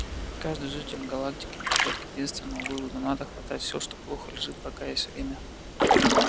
каждый житель галактики придёт к единственному выводу надо хватать все что плохо лежит пока есть время